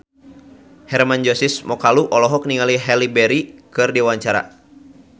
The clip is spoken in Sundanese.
Hermann Josis Mokalu olohok ningali Halle Berry keur diwawancara